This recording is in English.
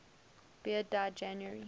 beard died january